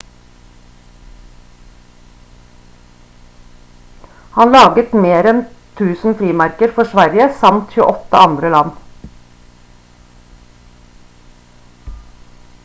han laget mer enn 1000 frimerker for sverige samt 28 andre land